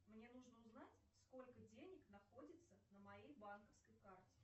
мне нужно узнать сколько денег находится на моей банковской карте